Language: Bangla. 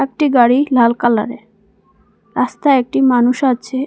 একটি গাড়ি লাল কালারের রাস্তায় একটি মানুষ আছে।